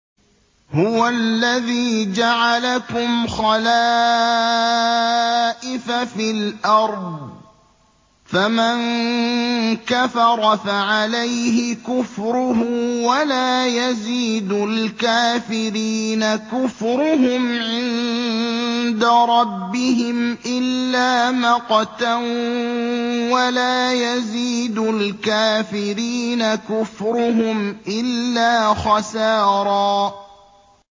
هُوَ الَّذِي جَعَلَكُمْ خَلَائِفَ فِي الْأَرْضِ ۚ فَمَن كَفَرَ فَعَلَيْهِ كُفْرُهُ ۖ وَلَا يَزِيدُ الْكَافِرِينَ كُفْرُهُمْ عِندَ رَبِّهِمْ إِلَّا مَقْتًا ۖ وَلَا يَزِيدُ الْكَافِرِينَ كُفْرُهُمْ إِلَّا خَسَارًا